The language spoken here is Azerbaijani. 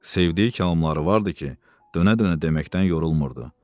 Sevdiyi kəlamları vardı ki, dönə-dönə deməkdən yorulmurdu.